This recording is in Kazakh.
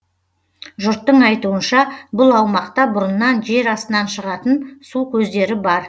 жұрттың айтуынша бұл аумақта бұрыннан жер астынан шығатын су көздері бар